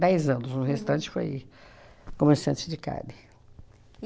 Dez anos, o restante foi comerciante de carne.